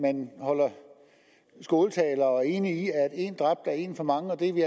man holder skåltaler og er enig i at en dræbt er en for mange det er vi